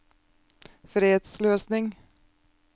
fredsløsning